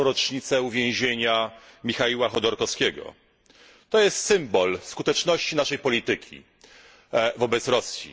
9. rocznicę uwięzienia Michaiła Chodorowskiego. To jest symbol skuteczności naszej polityki wobec Rosji.